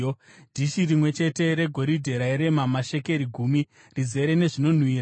dhishi rimwe chete regoridhe rairema mashekeri gumi , rizere nezvinonhuhwira;